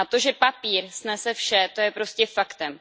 A to, že papír snese vše, to je prostě faktem.